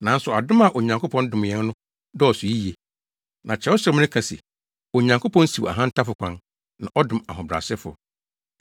Nanso adom a Onyankopɔn dom yɛn no dɔɔso yiye. Na Kyerɛwsɛm no ka se, “Onyankopɔn siw ahantanfo kwan, na ɔdom ahobrɛasefo.”